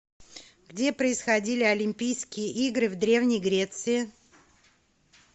где происходили олимпийские игры в древней греции